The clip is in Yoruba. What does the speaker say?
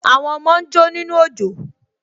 Àwọn ọmọ ń jó nínú òjò